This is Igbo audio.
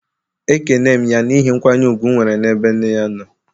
Ekene m ya n'ihi nkwanye ùgwù m nwere n'ebe nne ya nọ